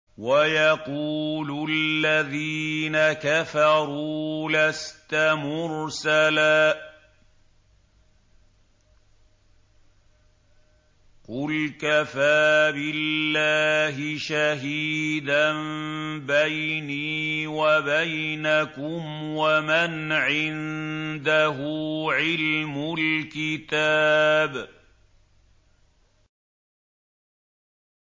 وَيَقُولُ الَّذِينَ كَفَرُوا لَسْتَ مُرْسَلًا ۚ قُلْ كَفَىٰ بِاللَّهِ شَهِيدًا بَيْنِي وَبَيْنَكُمْ وَمَنْ عِندَهُ عِلْمُ الْكِتَابِ